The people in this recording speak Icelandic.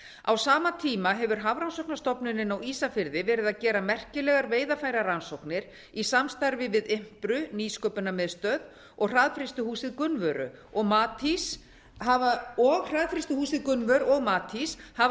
á sama tíma hefur hafrannsóknastofnunin á ísafirði verið að gera merkilegar veiðarfærarannsóknir í samstarfi við impru nýsköpunarmiðstöð og hraðfrystihúsið gunnvör og matís hafa